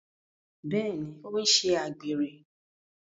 Bẹẹni, o n ṣe àgbèrè